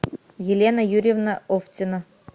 елена юрьевна овтина